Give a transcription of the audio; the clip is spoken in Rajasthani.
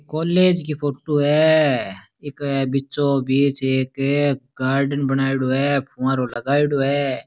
कॉलेज की फोटू है इक बीचो बिच एक गार्डन बनायेडॉ है फुवारों लगायेड़ो है।